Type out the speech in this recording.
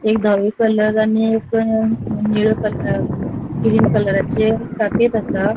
एक धवे कलर आणि एक निळे कलर ग्रीन कलराचे कापेत असा.